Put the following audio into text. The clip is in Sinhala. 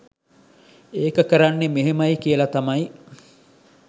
ඒක කරන්නේ මෙහෙමයි කියල තමයි